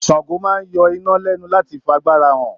Sango máa n yọ iná lẹnu láti f'àgbàrá hàn.